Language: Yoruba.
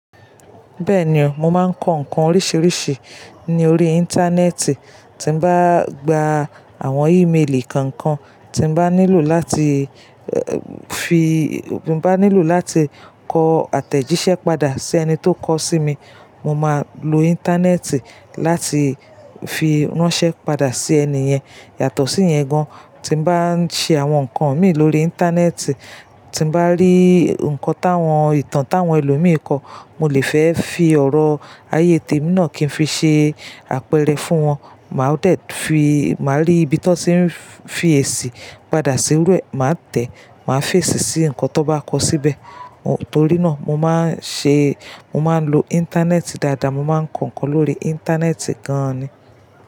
Bẹ́ẹ̀ni o, mo máa ń kọ nǹkan oríṣiríṣi ní orí Íńtánẹ́ẹ̀tì tí bá gba àwọn ímeelì kankan tí bá nílò láti fi, bá nílò láti kọ àtẹ̀jíṣẹ́ padà sí ẹni tó kọ sí mi. Mo máa lo Íńtánẹ́ẹ̀tì láti fi ránṣẹ́ padà sí ẹni yẹn. Yàtọ̀ sí yẹn gan, tí bá ń ṣe àwọn nǹkan mi lórí Íńtánẹ́ẹ̀tì, tí bá rí nǹkan táwọn, ìtàn táwọn ẹlòmíì kó, mo lè fẹ́ fi ọ̀rọ̀ ààyè tẹ mi náà kí n fi ṣe àpẹẹrẹ fún wọn. Màá dẹ̀ fi, màá rí ibi tí wọ́n tí ń fi èsì padà sí irú ẹ, màá tẹ̀, màá fèsì sí ǹkan tó bá kọ síbẹ̀. Nitorí náà mo máa ń ṣe, mo máa ń lo Íńtánẹ́ẹ̀tì dáadáa, mo máa ń kọ ǹkan lórí Íńtánẹ́ẹ̀tì gan ni.